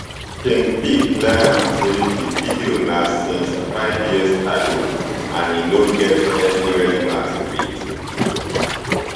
king pee clear am say di video na since five years ago and e no get any relevance wit